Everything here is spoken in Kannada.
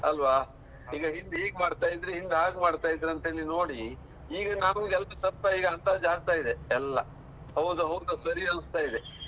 ಅಲ್ವಾ? ಈಗ ಇಂದ್ ಹೀಗ್ ಮಾಡ್ತಾ ಇದ್ರೆ, ಹಿಂದ್ ಹಾಗ್ ಮಾಡ್ತಾ ಇದ್ರಂತೇಳಿ ನೋಡಿ ಈಗ health ಎಲ್ಲ ಸ್ವಲ್ಪ ಅಂದಾಜ್ ಆಗ್ತಾ ಇದೆ ಎಲ್ಲ. ಹೌದು ಹೋಗ್ತಾ ಸರಿ ಅನ್ನಿಸ್ತ ಇದೆ.